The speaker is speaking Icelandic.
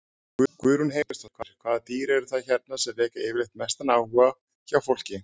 Guðrún Heimisdóttir: Hvaða dýr eru það hérna sem vekja yfirleitt mestan áhuga hjá fólki?